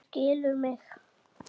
Þú skilur mig.